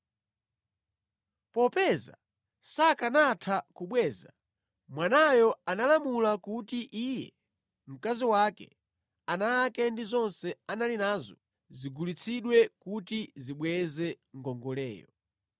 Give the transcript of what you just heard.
Popeza sakanatha kubweza, bwanayo analamula kuti iye, mkazi wake, ana ake ndi zonse anali nazo zigulitsidwe kuti zibweze ngongoleyo.